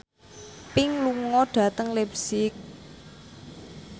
Pink lunga dhateng leipzig